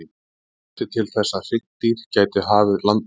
Hvað þurfti til þess að hryggdýr gætu hafið landnám?